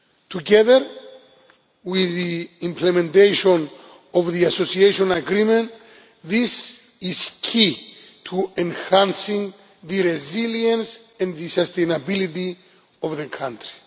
Together with the implementation of the Association Agreement, this is key to enhancing the resilience and sustainability of the country.